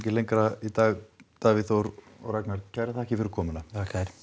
lengra í dag Davíð Þór og Ragnar takk fyrir komuna það